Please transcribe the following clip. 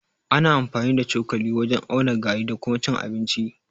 Ana amfani ta cokali wajen auna gari da kuma cin abinci.